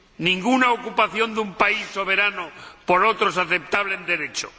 Ninguna ocupación de un país soberano por otro es aceptable en Derecho.